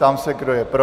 Ptám se, kdo je pro?